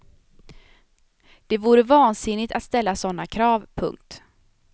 Det vore vansinnigt att ställa såna krav. punkt